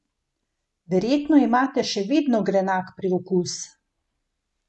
Verjetno imate še vedno grenak priokus?